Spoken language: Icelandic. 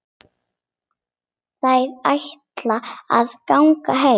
Þær ætla að ganga heim.